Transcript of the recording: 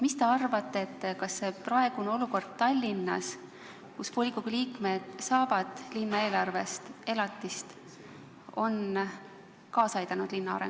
Mis te arvate, kas praegune olukord Tallinnas, kus volikogu liikmed saavad linna eelarvest elatist, on linna arengule kaasa aidanud?